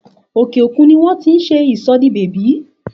Òkè òkun ni wón ti ń ṣe ìsòdibẹ̀bí